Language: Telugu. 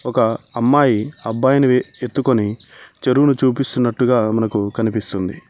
ఒక అమ్మాయి అబ్బాయిని ఎత్తుకొని చెరువును చూపిస్తున్నట్టుగా మనకు కనిపిస్తుంది.